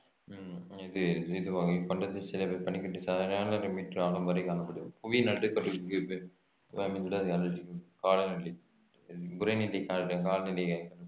உம் இது இதுவாகும் இக்கண்டத்தில் சில இடங்~ பனிக்கட்டி மீட்டர் ஆழம் வரை காணப்படும் புவிநடுக்கோட்டிற்கு அமைந்துள்ளதால் அண்டார்டிகாவின் காலநிலை உறைநிலை கால~ காலநிலை